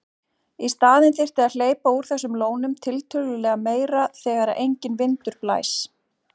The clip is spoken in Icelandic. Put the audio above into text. Í staðinn þyrfti að hleypa úr þessum lónum tiltölulega meira þegar enginn vindur blæs.